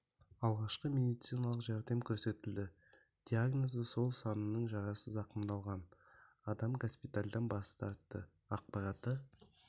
алғашқы медициналық жәрдем көрсетілді диагнозы сол санының жарасы зақымданған адам госпитальдан бас тартты ақпараты